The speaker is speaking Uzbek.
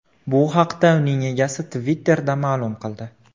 Bu haqda uning egasi Twitter’da ma’lum qildi .